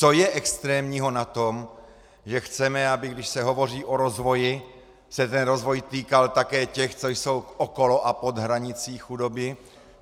Co je extrémního na tom, že chceme, aby když se hovoří o rozvoji, se ten rozvoj týkal také těch, co jsou okolo a pod hranicí chudoby?